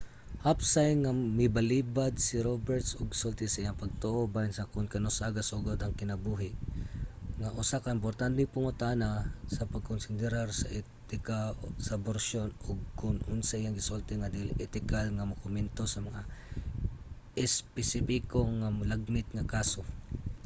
hapsay nga milbalibad si roberts og sulti sa iyang pagtuo bahin sa kon kanus-a gasugod ang kinabuhi nga usa ka importanteng pangutana sa pagkonsiderar sa etika sa aborsiyon ug kon asa iyang gisulti nga dili etikal nga mokomento sa mga espesipiko sa mga lagmit nga kaso